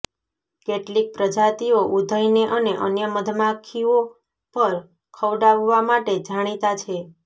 કેટલીક પ્રજાતિઓ ઉધઇને અને અન્ય મધમાખીઓ પર ખવડાવવા માટે જાણીતા છે